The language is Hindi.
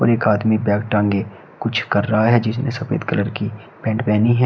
और एक आदमी बैग टांगे कुछ कर रहा है जिसने सफेद कलर की पैंट पहनी है।